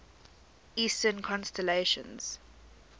eastern constellations